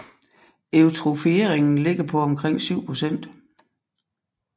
Eutrofieringen ligger på omkring syv procent